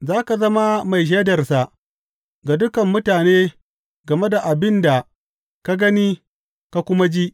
Za ka zama mai shaidarsa ga dukan mutane game da abin da ka gani ka kuma ji.